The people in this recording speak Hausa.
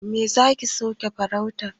Me zaki suke farauta?